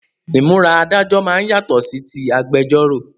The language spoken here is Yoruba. Ìmúra Adájọ́ máa ń yàtọ̀ sí tí agbẹjọ́ró